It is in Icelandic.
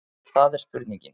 Það er spurningin.